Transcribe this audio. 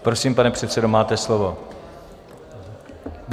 Prosím, pane předsedo, máte slovo.